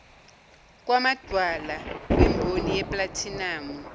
kwamadwala kwimboni yeplathinamu